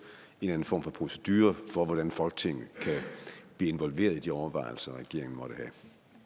en form for procedure for hvordan folketinget kan blive involveret i de overvejelser regeringen måtte